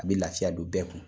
A bɛ lafiya don bɛɛ kun.